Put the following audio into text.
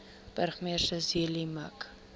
burgemeester zille mik